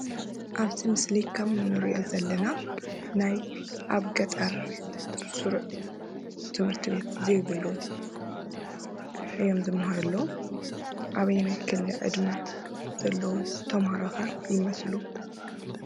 አብዚ ምስሊ ከምእንሪኦ ዘለና ናይ አብ ገጠር ስሩዕ ትምህርቲ ቤት ዘይብሉ እዮም ዝመሃሩ ዘለዉ፡፡ አበየናይ ክሊ ዕድመ ዘለዉ ተማሃሮ ኸ ይመስሉ?